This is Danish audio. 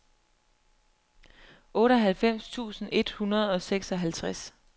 otteoghalvfems tusind et hundrede og seksoghalvtreds